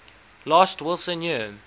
last wilson year